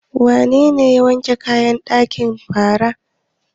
Wanene ya wanke kayan banɗaki bara?